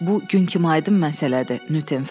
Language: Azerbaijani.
Bu gün kimi aydın məsələdir,